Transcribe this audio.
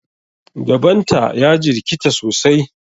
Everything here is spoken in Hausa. Gaban ta ya jirkata sosai.